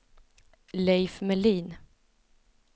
Leif Melin